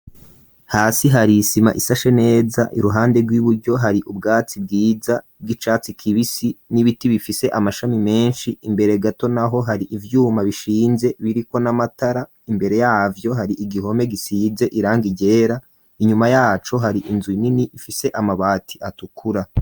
Hasi hari isima isashe neza iruhande rw'iburyo hari ubwatsi bwiza bw'icatsi kibisi n'ibiti bifise amashami menshi imbere gato naho hari ivyuma bishinze biriko n'amatara imbere yavyo hari igihome gisize irangi ryera inyuma yacu hari inzu nini ifise amabati atukura.